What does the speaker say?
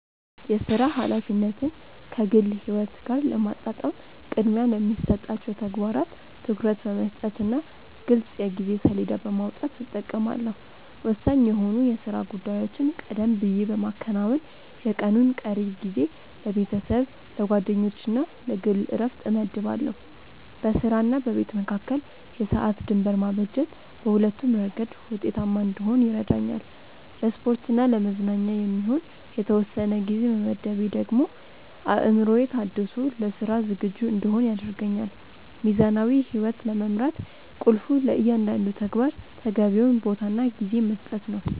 የሥራ ኃላፊነትን ከግል ሕይወት ጋር ለማጣጣም ቅድሚያ ለሚሰጣቸው ተግባራት ትኩረት በመስጠትና ግልጽ የጊዜ ሰሌዳ በማውጣት እጠቀማለሁ። ወሳኝ የሆኑ የሥራ ጉዳዮችን ቀደም ብዬ በማከናወን፣ የቀኑን ቀሪ ጊዜ ለቤተሰብ፣ ለጓደኞችና ለግል ዕረፍት እመድባለሁ። በሥራና በቤት መካከል የሰዓት ድንበር ማበጀት በሁለቱም ረገድ ውጤታማ እንድሆን ይረዳኛል። ለስፖርትና ለመዝናኛ የሚሆን የተወሰነ ጊዜ መመደቤ ደግሞ አእምሮዬ ታድሶ ለሥራ ዝግጁ እንድሆን ያደርገኛል። ሚዛናዊ ሕይወት ለመምራት ቁልፉ ለእያንዳንዱ ተግባር ተገቢውን ቦታና ጊዜ መስጠት ነው።